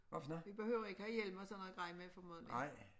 Vi behøver ikke have hjelm og sådan noget grej med formodentlig